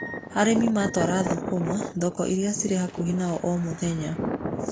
Arĩmi matwara thũkũma thoko irĩa cirĩ hakuhĩ na o omũthenya.